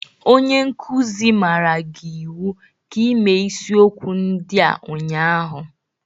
Onye nkuzi maara gị iwu ka ịme isiokwu ndị a ụnyaahụ!